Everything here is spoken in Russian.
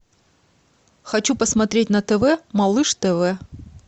хочу посмотреть на тв малыш тв